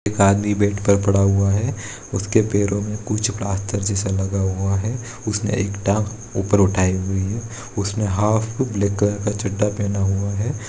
एक आदमी बेड पर पड़ा हुआ है उसके पैरों में कुछ प्लास्टर जैसा लगा हुआ है उसने एक टांग ऊपर उठा हुई है उसने हाफ ब्लैक कलर का चड्डा पहना हुआ है।